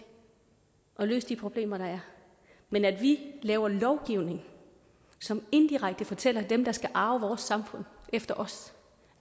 at løse de problemer der er men at vi laver lovgivning som indirekte fortæller dem der skal arve vores samfund efter os